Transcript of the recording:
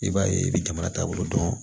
I b'a ye i bɛ jamana taabolo dɔn